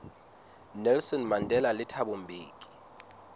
nelson mandela le thabo mbeki